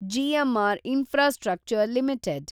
GMR infrastructure limited